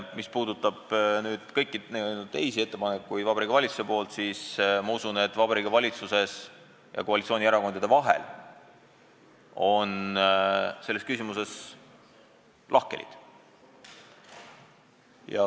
Mis puudutab kõiki teisi Vabariigi Valitsuse ettepanekuid, siis ma usun, et Vabariigi Valitsuses ja koalitsioonierakondade vahel on selles küsimuses lahkhelid.